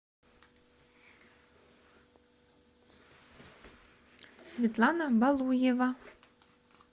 светлана балуева